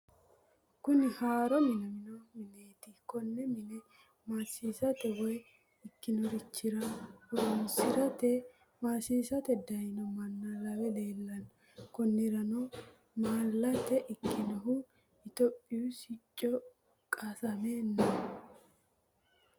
Kuni haaro minamino mineti, kone mine maasisate woyi ikkinorichira horonsirate maasisate dayino manna lawe leellano koniranno malate ikkannohu tophiyuu sicci qasame no